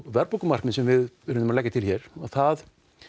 verðbólgumarkmið sem við erum að leggja til hér það